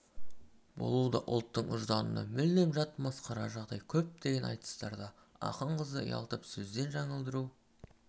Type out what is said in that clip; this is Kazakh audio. болу да ұлттың ұжданына мүлде жат масқара жағдай көптеген айтыстарда ақын қызды ұялтып сөзден жаңылдыру